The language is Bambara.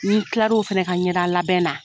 N kilala o fɛnɛ ka ɲɛda labɛn na.